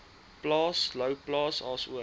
plaas louwplaas asook